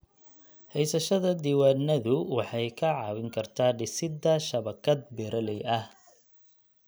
Haysashada diiwaanadu waxay kaa caawin kartaa dhisidda shabakad beeraley ah.